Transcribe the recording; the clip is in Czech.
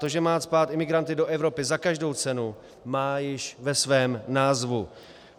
To, že má cpát imigranty do Evropy za každou cenu, má již ve svém názvu.